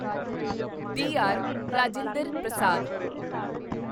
D R. Rajendra Prasad